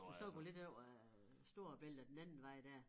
Hvis du så på lidt over Storebælt og den anden vej dér